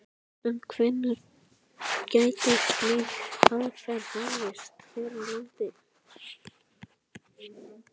En hvenær gæti slík aðferð hafist hér á landi?